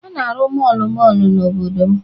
A ga-arụ mọọlụ mọọlụ n'obodo m.